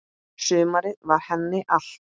Sumarið var henni allt.